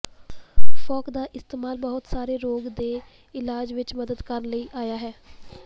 folk ਦਾ ਇਸਤੇਮਲ ਬਹੁਤ ਸਾਰੇ ਰੋਗ ਦੇ ਇਲਾਜ ਵਿਚ ਮਦਦ ਕਰਨ ਲਈ ਆਇਆ ਹੈ